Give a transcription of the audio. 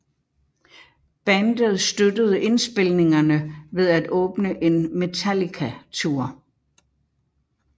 Bandet støttede indspilningerne ved at åbne en Metallica tour